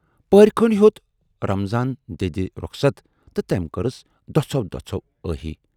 پٔہرۍ کٔھنٛڈۍ ہیوت رمضانن دٮ۪دِ رۅخصتھ تہٕ تمٔۍ کٔرٕس دۅژھو دۅژھو ٲہی۔